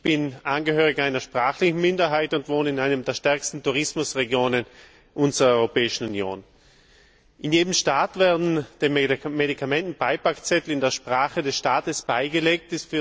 Ich bin Angehöriger einer sprachlichen Minderheit und wohne in einer der stärksten Tourismusregionen unserer Europäischen Union. In jedem Staat werden den Medikamenten Beipackzettel in der Sprache des Staates beigelegt.